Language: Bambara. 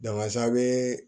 Danfara bee